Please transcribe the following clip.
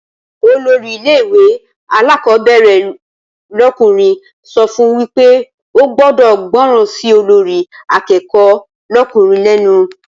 Olórí ilé ìwé alákọ̀ọ́bẹ̀rẹ̀ lọ́kùnrin so fún wípé o gbọ́dọ̀ gbọ́ràn sí olórí akẹ́kọ̀ọ́ lọ́kùnrin lẹ́nu